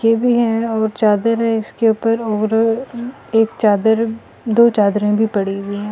केबी है और चादर है इसके ऊपर और अ एक चादर दो चादरें भी पड़ी हुई हैं।